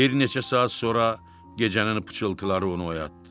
Bir neçə saat sonra gecənin pıçıltıları onu oyatdı.